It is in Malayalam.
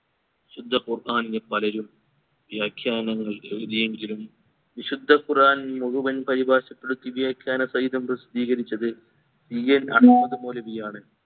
വിശുദ്ധ ഖുർആനിന് പലരും വ്യാഖ്യാനങ്ങൾ എഴുതിയെങ്കിലും വിശുദ്ധ ഖുർആൻ മുഴുവൻ പരിഭാഷപ്പെടുത്തി വ്യാഖ്യാന സഹിതം പ്രസിദ്ധികരിച്ചത് CN അഹമ്മദ് മൗലവി ആണ്